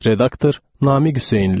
Redaktor: Namiq Hüseynli.